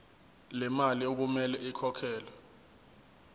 lemali okumele ikhokhelwe